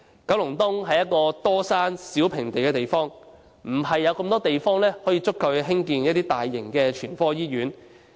九龍東是多山少平地的地方，沒有足夠地方興建大型全科醫院。